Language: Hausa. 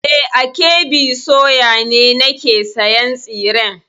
E, a KB soya ne nake sayan tsiren.